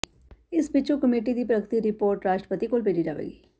ਇਸ ਪਿੱਛੋਂ ਕਮੇਟੀ ਦੀ ਪ੍ਰਗਤੀ ਰਿਪੋਰਟ ਰਾਸ਼ਟਰਪਤੀ ਕੋਲ ਭੇਜੀ ਜਾਵੇਗੀ